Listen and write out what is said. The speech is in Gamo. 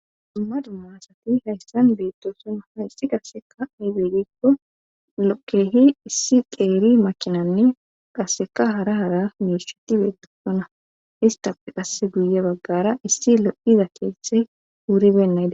Dumma dumma asati hayssan beettosona haysi qasseka aybeegikko lokehi issi qeeri makinanne qasseka hara hara misheti bedetona istap qasse guye baggara issi lo7iza keethey wuuri beynagey